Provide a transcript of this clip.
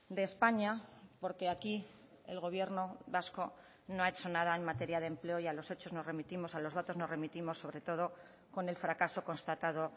de españa porque aquí el gobierno vasco no ha hecho nada en materia de empleo y a los hechos nos remitimos a los datos nos remitimos sobre todo con el fracaso constatado